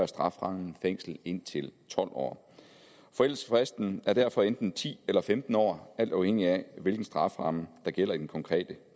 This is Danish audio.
strafferammen fængsel indtil tolv år forældelsesfristen er derfor enten ti eller femten år alt afhængigt af hvilken strafferamme der gælder i den konkrete